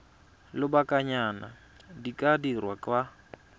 lobakanyana di ka dirwa kwa